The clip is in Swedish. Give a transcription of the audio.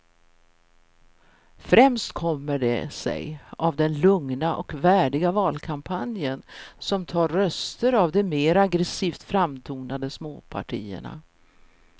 Främst kommer det sig av den lugna och värdiga valkampanjen som tar röster av de mer aggresivt framtonade småpartierna.